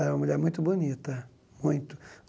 Era uma mulher muito bonita, muito.